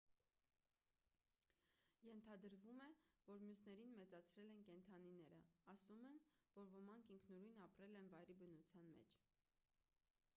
ենթադրվում է որ մյուսներին մեծացրել են կենդանիները ասում են որ ոմանք ինքնուրույն ապրել են վայրի բնության մեջ